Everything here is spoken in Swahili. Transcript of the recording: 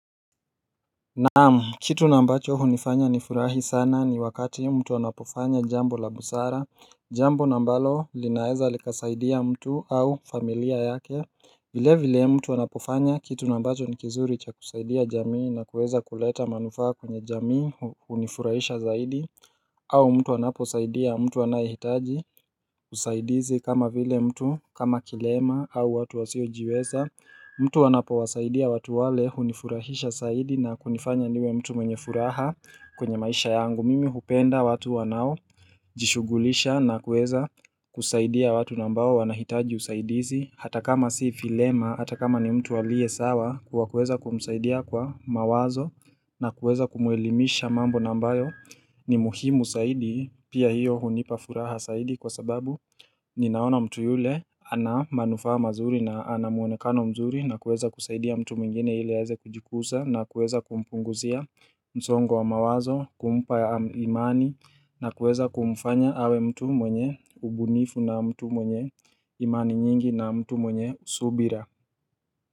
Naam, kitu naambacho hunifanya nifurahi sana ni wakati mtu anapofanya jambo la busara, jambo na ambalo linaeza likasaidia mtu au familia yake vile vile mtu anapofanya kitu naambacho nikizuri cha kusaidia jamii na kuweza kuleta manufaa kwenye jamii hunifurahisha zaidi au mtu anaposaidia, mtu anayehitaji usaidizi kama vile mtu kama kilema au watu wasiojiweza mtu anapo wasaidia watu wale hunifurahisha zaidi na kunifanya niwe mtu mwenye furaha kwenye maisha yangu Mimi hupenda watu wanao jishugulisha na kuweza kusaidia watu na ambao wanahitaji usaidizi Hata kama si vilema, hata kama ni mtu alie sawa kuwa kuweza kumsaidia kwa mawazo na kuweza kumuelimisha mambo na ambayo ni muhimu saidi pia hiyo hunipa furaha saidi kwa sababu ninaona mtu yule ana manufaa mazuri na ana muonekano mzuri na kuweza kusaidia mtu mwingine hili aeze kujikusa na kuweza kumpunguzia msongo wa mawazo kumpa ya imani na kuweza kumfanya awe mtu mwenye ubunifu na mtu mwenye imani nyingi na mtu mwenye subira.